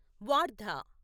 Wardha